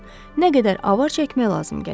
Nə qədər avar çəkmək lazım gələcək.